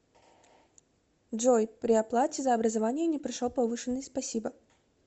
джой при оплате за образование не пришел повышенный спасибо